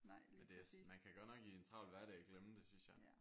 Men det er man kan godt nok i en travl hverdag glemme det synes jeg